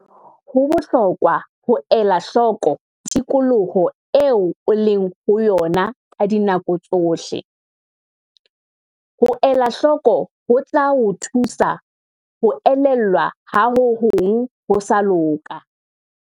Ho bohlokwa ho ela hloko tikoloho eo o leng ho yona ka dinako tsohle. Ho elahloko ho tla o thusa ho elellwa ha ho hong ho sa loka.